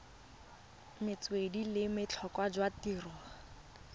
metswedi le botlhokwa jwa tirelo